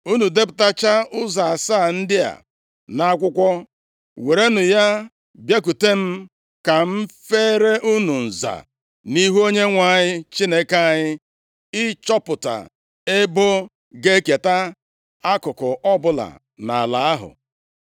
Unu depụtachaa ụzọ asaa ndị a nʼakwụkwọ, werenụ ya bịakwute m ka m feere unu nza nʼihu Onyenwe anyị Chineke anyị ịchọpụta ebo ga-eketa akụkụ ọbụla nʼala ahụ.